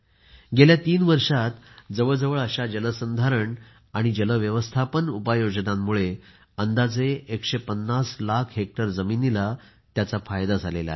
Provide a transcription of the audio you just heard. गेल्या तीन वर्षांत जवळजवळ अशा जलसंधारण आणि जलव्यवस्थापन उपाययोजनांमुळे अंदाजे 150 लाख हेक्टर जमिनीला याचा फायदा झाला आहे